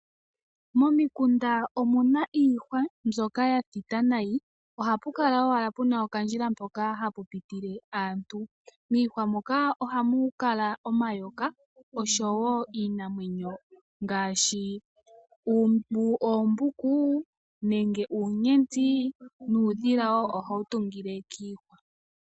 Momikunda omu na iihwa mbyoka ya thita nayi. Ohapu kala owala pu na okandjila hoka haka pitile aantu. Miihwa moka ohamu kala omayoka osho wo iinamwenyo ngaashi oombuku, nenge uunyenti nuudhila wo ohawu tungile kiihwa.